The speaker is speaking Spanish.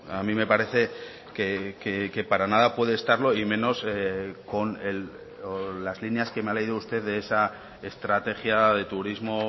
a mí me parece que para nada puede estarlo y menos con las líneas que me ha leído usted de esa estrategia de turismo